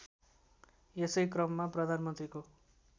यसै क्रममा प्रधानमन्त्रीको